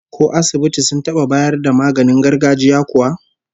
Ko asibiti sun taba bayar da maganin gargajiya kuwa?